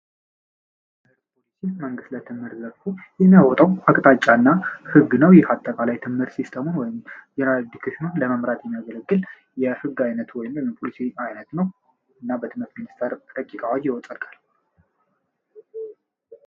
ርስ ፖሊሲ መንግስት ለትምህር ዘርፉ የሚያወጠው ሀቅታጫ እና ሕግ ነው የሀተቃላይ ትምህር ሲስተሙን ወይም የናድክሽኑን ለመምራት የሚያገለግል የህግ ዓይነት ሆይን ፖሊሲ አይነት ነው እና በትምህርት ሚኒስተር ረቂቅ ይወጣል ይፀድቃል።